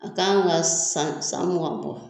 A kan ga san san mugan bɔ